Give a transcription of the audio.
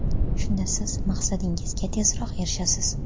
Shunda siz maqsadingizga tezroq erishasiz.